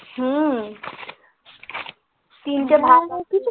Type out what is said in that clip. হম তিনটে ভাগ আছে